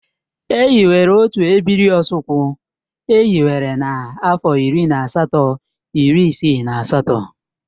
E hiwere otu ebiri Osukwu e hiwere na-afo iri na asatọ iri isii na asatọ.